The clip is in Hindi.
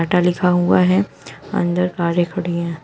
काँटा लिखा हुआ है अंदर कारें खड़ी हैं।